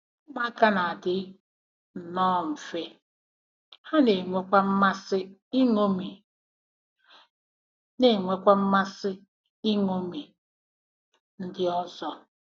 “Ụmụaka na-adị nnọọ mfe, ha na-enwekwa mmasị iṅomi na-enwekwa mmasị iṅomi ndị ọzọ.